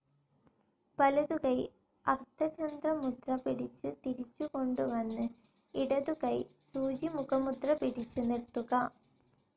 വലതുകൈ അർദ്ധചന്ദ്ര മുദ്ര പിടിച്ച് തിരിച്ചുകൊണ്ടു വന്ന് ഇടതുകൈ സൂചിമുഖ മുദ്ര പിടിച്ച് നിർത്തുക.